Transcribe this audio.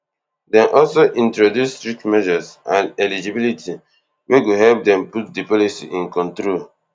dem also introduce strict measures and eligibility wey go help dem put di policy in control